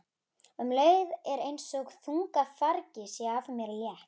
Um leið er einsog þungu fargi sé af mér létt.